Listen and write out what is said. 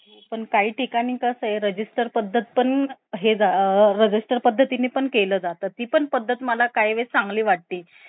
अं खूप अं buildings खूप छान छान ए तीथे shanghai मधे त Jinmao tower झालं Oriental pearl tower झालं Shanghai tower झालं जे दुनियातलं सगळ्यात अं second largest building ए तिथे आम्ही गेलो eighty fifth floor वरून आम्ही